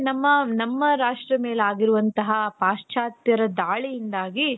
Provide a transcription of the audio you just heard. ನಮ್ಮ ರಾಷ್ಟ್ರದ ಮೇಲಾಗಿರುವಂತಹ ಪಾಶ್ಚಾತ್ಯ ದಾಳಿಯಿಂದಾಗಿ